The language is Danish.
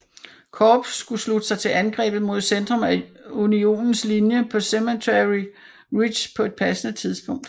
Korps skulle slutte sig til angrebet mod centrum af Unionens linje på Cemetery Ridge på et passende tidspunkt